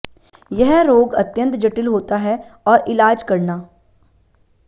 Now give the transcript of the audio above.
यह रोग अत्यंत जटिल होता है और इलाज करना